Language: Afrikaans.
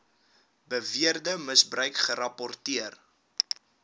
beweerde misbruik gerapporteer